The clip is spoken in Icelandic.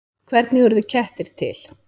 Hvernig urðu kettir til?